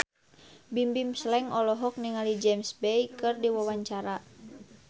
Bimbim Slank olohok ningali James Bay keur diwawancara